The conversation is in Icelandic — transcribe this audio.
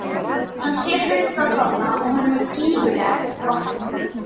Hann sér hulda dóma og honum er gífurleg vorkunn.